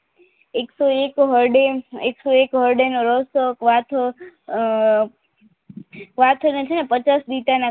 એક તો એક હરડેન્ટ નો રસ વાસને પચાસ બીટના